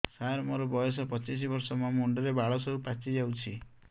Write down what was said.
ସାର ମୋର ବୟସ ପଚିଶି ବର୍ଷ ମୋ ମୁଣ୍ଡରେ ବାଳ ସବୁ ପାଚି ଯାଉଛି